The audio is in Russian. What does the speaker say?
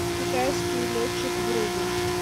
китайский летчик вруби